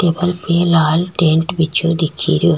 Table पे लाल tent बिछ्यो दिखे रियो।